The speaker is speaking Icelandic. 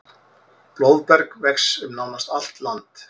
Blóðberg vex um nánast allt land.